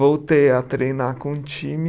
Voltei a treinar com o time.